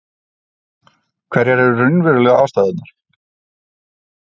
Hverjar eru raunverulegu ástæðurnar?